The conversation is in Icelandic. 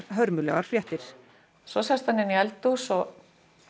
hörmulegar fréttir svo sest hann inn í eldhús og